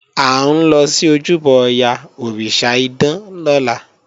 À ń lọ sí ojúbọ Ọya, òrìṣà idán lọ́la